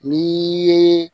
Ni ye